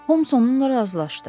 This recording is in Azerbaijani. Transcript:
Homs onunla razılaşdı.